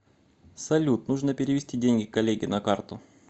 салют нужно перевести деньги коллеге на карту